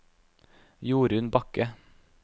Jorunn Bakke